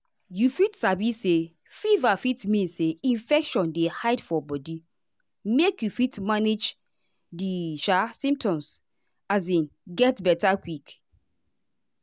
you fit sabi say fever fit mean say infection dey hide for body make you fit manage di um symptoms um get beta quick.